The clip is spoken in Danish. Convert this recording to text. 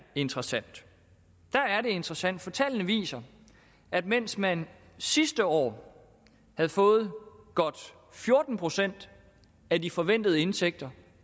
interessant interessant for tallene viser at mens man sidste år havde fået godt fjorten procent af de forventede indtægter